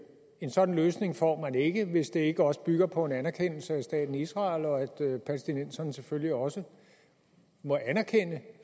en sådan løsning får man ikke hvis det ikke også bygger på en anerkendelse af staten israel og at palæstinenserne selvfølgelig også må anerkende